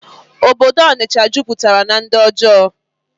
Obodo Ọnịsha juputara na ndi ojọọ